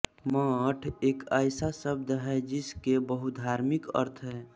मठ एक ऐसा शब्द है जिसके बहुधार्मिक अर्थ हैं